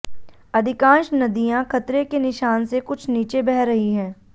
अधिकांश नदियां खतरे के निशान से कुछ नीचे बह रही हैं